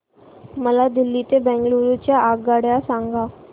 मला दिल्ली ते बंगळूरू च्या आगगाडया सांगा